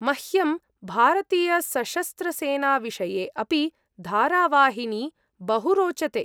मह्यं भारतीयसशस्त्रसेनाविषये अपि धारावाहिनी बहु रोचते।